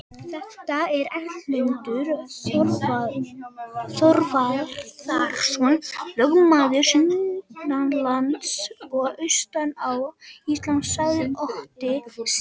Þetta er Erlendur Þorvarðarson, lögmaður sunnanlands og austan á Íslandi, sagði Otti Stígsson.